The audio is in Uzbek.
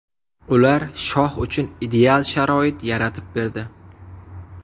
Ular Shoh uchun ideal sharoit yaratib berdi.